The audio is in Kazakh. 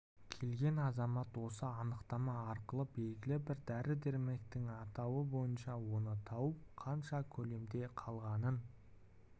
келген азамат осы анықтама арқылы белгілі бір дәрі-дәрмектің атауы бойынша оны тауып қанша көлемде қалғанын